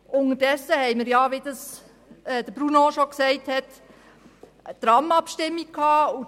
Unterdessen hat, wie Bruno Vanoni gesagt hat, die Tram-Abstimmung stattgefunden.